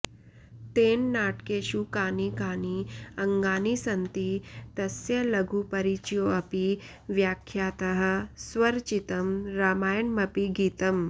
तेन नाटकेषु कानि कानि अङ्गानि सन्ति तस्य लघुपरिचयोऽपि व्याख्यातः स्वरचितं रामायणमपि गीतम्